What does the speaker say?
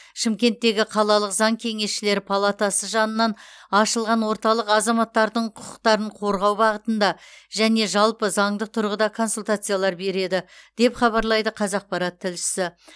шымкенттегі қалалық заң кеңесшілері палатасы жанынан ашылған орталық азаматтардың құқықтарын қорғау бағытында және жалпы заңдық тұрғыда консультациялар береді деп хабарлайды қазақпарат тілшісі